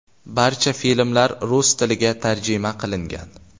Barcha filmlar rus tiliga tarjima qilingan.